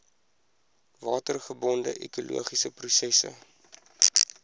watergebonde ekologiese prosesse